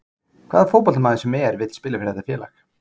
Hvaða fótboltamaður sem er vill spila fyrir þetta félag.